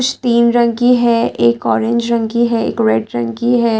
तीन रंग की है एक ऑरेंज रंग की है एक रेड रंग की है।